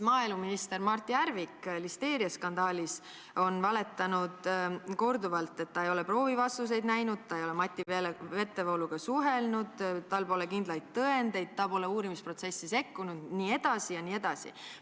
Maaeluminister Mart Järvik on listeeriaskandaaliga seoses valetanud korduvalt, et ta ei ole proovide vastuseid näinud, ta ei ole Mati Vetevooluga suhelnud, tal pole kindlaid tõendeid, ta pole uurimisprotsessi sekkunud jne.